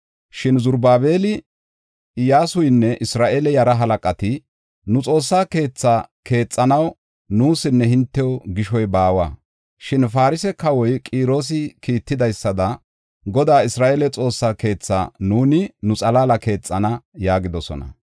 Shin Zarubaabeli, Iyyasuynne Isra7eele yara halaqati, “Nu Xoossaa keetha keexanaw nuusinne hintew gishoy baawa. Shin Farse kawoy Qiroosi kiittidaysada Godaa, Isra7eele Xoossa keetha nuuni nu xalaala keexana” yaagidosona.